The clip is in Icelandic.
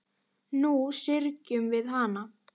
Nú syrgjum við hana.